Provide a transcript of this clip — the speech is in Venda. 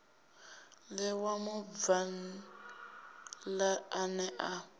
ṋewa mubvann ḓa ane a